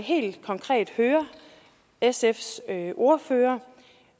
helt konkret høre sfs ordfører